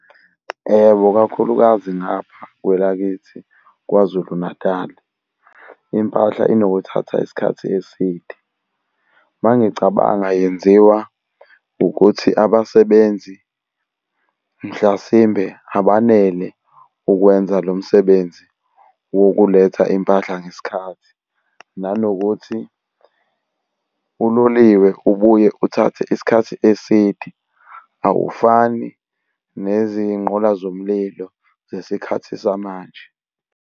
Yebo, kakhulukazi ngapha kwelakithi KwaZulu-Natali, impahla inokuthatha isikhathi eside. Uma ngicabanga yenziwa ukuthi abasebenzi mhlasimbe abanele ukwenza lo msebenzi wokuletha impahla ngesikhathi, nanokuthi uloliwe ubuye uthathe isikhathi eside awufani nezigqola zomlilo zesikhathi samanje.